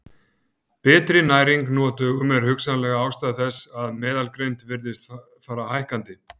Betri næring nú á dögum er hugsanleg ástæða þess að meðalgreind virðist fara hækkandi.